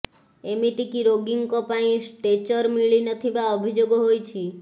ଏମିତିକି ରୋଗୀଙ୍କ ପାଇଁ ଷ୍ଟ୍ରେଚର ମିଳି ନଥିବା ଅଭିଯୋଗ ହୋଇଛି